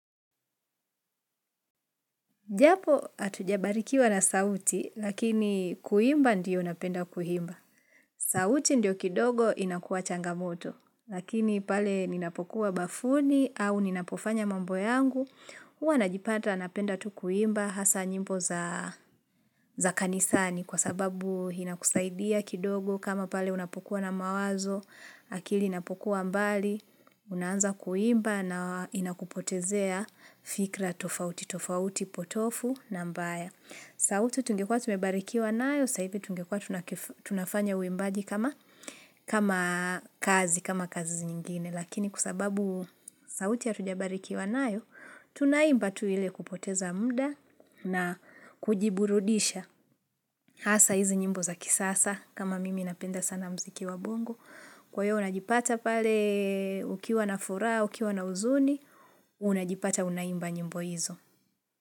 Japo hatujabarikiwa na sauti, lakini kuimba ndiyo napenda kuimba. Sauti ndiyo kidogo inakuwa changamoto, lakini pale ninapokuwa bafuni au ninapofanya mambo yangu, hua najipata napenda tu kuimba hasa nyimbo za za kanisani kwa sababu inakusaidia kidogo kama pale unapokuwa na mawazo, akili inapokuwa mbali, unaanza kuimba na inakupotezea fikra tofauti, tofauti, potofu na mbaya. Sauti tungekuwa tumebarikiwa nayo, saa hivi tungekuwa tunafanya uimbaji kama kazi, kama kazi nyingine. Lakini kwasababu sauti hatujabarikiwa nayo, tunaimba tu ile kupoteza muda na kujiburudisha. Hasa hizi nyimbo za kisasa kama mimi napenda sana muziki wa bongo. Kwa hio unajipata pale ukiwa na furaha, ukiwa na huzuni, unajipata unaimba nyimbo hizo.